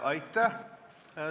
Aitäh!